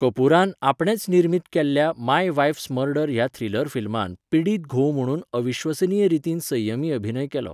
कपुरान आपणेच निर्मीत केल्ल्या माय वाइफस मर्डर ह्या थ्रिलर फिल्मांत पिडीत घोव म्हणून अविश्वसनीय रितीन संयमी अभिनय केलो.